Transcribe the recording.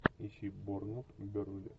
ищи борнмут бернли